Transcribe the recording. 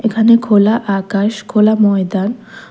এখানে খোলা আকাশ খোলা ময়দান--